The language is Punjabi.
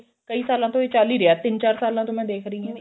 ਕਈ ਸਾਲਾਂ ਤੋਂ ਇਹ ਚੱਲ ਹੀ ਰਿਹਾ ਤਿੰਨ ਚਾਰ ਸਾਲਾਂ ਤੋਂ ਮੈਂ ਦੇਖ ਰਹੀ ਆਂ